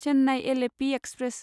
Chennai Alleppey express